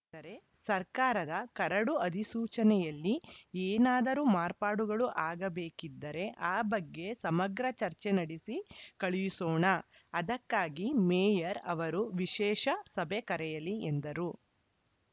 ಆದರೆ ಸರ್ಕಾರದ ಕರಡು ಅಧಿಸೂಚನೆಯಲ್ಲಿ ಏನಾದರೂ ಮಾರ್ಪಾಡುಗಳು ಆಗಬೇಕಿದ್ದರೆ ಆ ಬಗ್ಗೆ ಸಮಗ್ರ ಚರ್ಚೆ ನಡೆಸಿ ಕಳುಹಿಸೋಣ ಅದಕ್ಕಾಗಿ ಮೇಯರ್‌ ಅವರು ವಿಶೇಷ ಸಭೆ ಕರೆಯಲಿ ಎಂದರು